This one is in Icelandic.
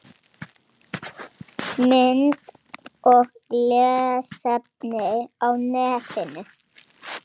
Þangað gátu þeir safnað liði.